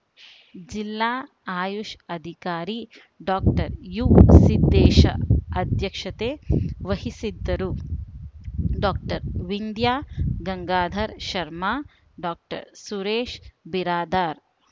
ಜಿಲ್ಲಾ ಆಯುಷ್‌ ಅಧಿಕಾರಿ ಡಾಕ್ಟರ್ ಯುಸಿದ್ದೇಶ ಅಧ್ಯಕ್ಷತೆ ವಹಿಸಿದ್ದರು ಡಾಕ್ಟರ್ ವಿಂದ್ಯಾ ಗಂಗಾಧರ ಶರ್ಮ ಡಾಕ್ಟರ್ ಸುರೇಶ ಬಿರಾದಾರ